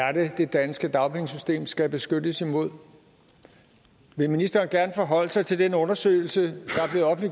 er det det danske dagpengesystem skal beskyttes imod vil ministeren gerne forholde sig til den undersøgelse